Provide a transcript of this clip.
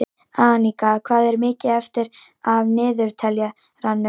Anika, hvað er mikið eftir af niðurteljaranum?